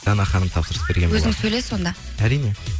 дана ханым тапсырыс берген өзің сөйлес онда әрине